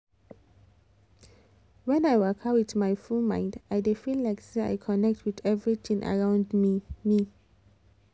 when i waka with my full mind i dey feel like say i connect with everything around me me